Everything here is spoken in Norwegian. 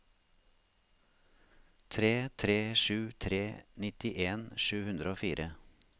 tre tre sju tre nittien sju hundre og fire